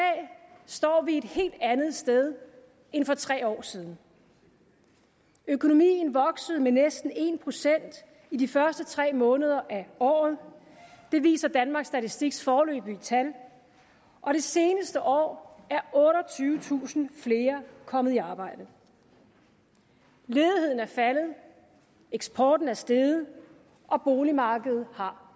står vi et helt andet sted end for tre år siden økonomien voksede med næsten en procent i de første tre måneder af året det viser danmarks statistiks foreløbige tal og det seneste år er otteogtyvetusind flere kommet i arbejde ledigheden er faldet eksporten er steget og boligmarkedet har